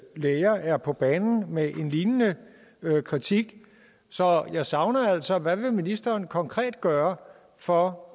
læger er på banen med en lignende kritik så jeg savner altså at høre hvad vil ministeren konkret gøre for